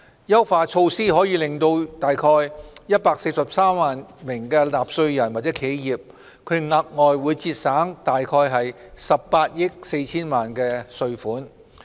優化措施可令約143萬名納稅人或企業額外節省約18億 4,000 萬元稅款。